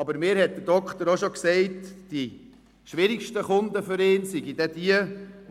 Aber mir hat der Arzt auch schon gesagt, die schwierigsten Kunden seien jene, die